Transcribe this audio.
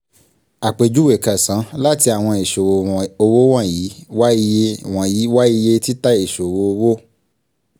àpèjúwe kẹsàn-án: láti àwọn ìṣòwò owó wọ̀nyí wa iye wọ̀nyí wa iye títà ìṣòwò owó: